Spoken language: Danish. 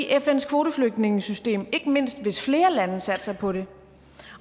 fns kvoteflygtningesystem ikke mindst hvis flere lande satser på det